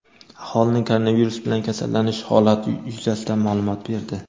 aholining koronavirus bilan kasallanish holati yuzasidan ma’lumot berdi.